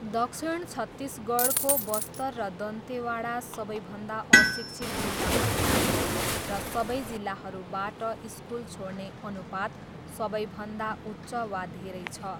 दक्षिण छत्तिसगढको बस्तर र दन्तेवाडा सबैभन्दा अशिक्षित जिल्लाहरू हुन् र सबै जिल्लाहरूबाट स्कुल छोड्ने अनुपात सबैभन्दा उच्च वा धेरै छ।